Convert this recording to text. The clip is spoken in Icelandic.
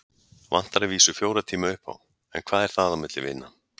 Vantar að vísu fjóra tíma upp á. en hvað er það á milli vina.